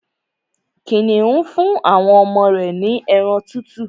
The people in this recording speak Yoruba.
Kìnìún fún àwọn ọmọ rẹ̀ ní ẹran tútù